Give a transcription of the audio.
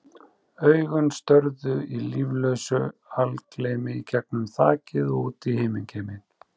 Augun störðu í líflausu algleymi í gegnum þakið og út í himingeiminn.